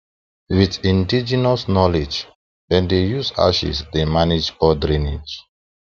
with indigenous knowledge dem dey use ashes dey manage poor drainage